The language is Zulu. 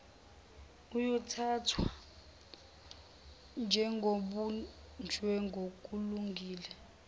uyothathwa njengobunjwe ngokulungile